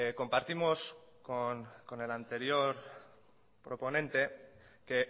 compartimos con el anterior proponente que